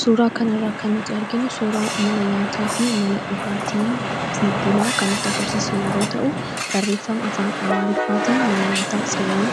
suuraa kanirraa kannuti arginnu suuraa mana nyaataa fi mana dhugaatii fi bunaa kannutti agarsiisi yeroo ta'u barreeffama afaan amaariffaatiin mana nyaataa xiyoon